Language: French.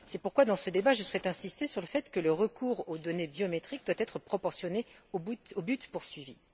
C'est pourquoi, dans ce débat, je souhaite insister sur le fait que le recours aux données biométriques doit être proportionné au but poursuivi.